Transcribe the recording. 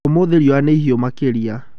Ũmũthĩ riũa nĩ ihiũ makĩria.